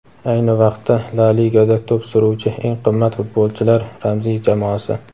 Ayni vaqtda La Ligada to‘p suruvchi eng qimmat futbolchilar ramziy jamoasi.